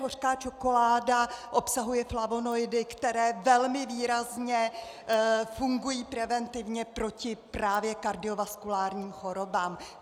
Hořká čokoláda obsahuje flavonoidy, které velmi výrazně fungují preventivně proti právě kardiovaskulárním chorobám.